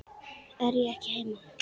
Ég er ekki heima